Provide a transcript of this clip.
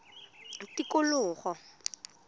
tikologo